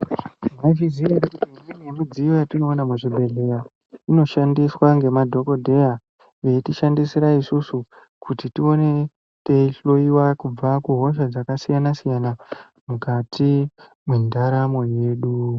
Mwaizviziya ere kuti imweni yemidziyo yatinoona muzvibhedhleya, inoshandiswa ngemadhokodheya, veitishandisira isusu kuti tione teihloiwa kubva kuhosha dzakasiyana-siyana, mukati mwendaramo yedu.